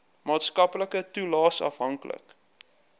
maatskaplike toelaes afhanklik